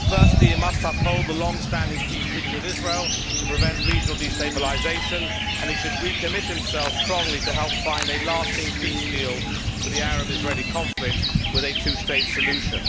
Firstly, he must uphold the longstanding peace treaty with Israel to prevent regional destabilisation, and he should recommit himself strongly to help find a lasting peace deal for the Arab Israeli conflict with a two state solution.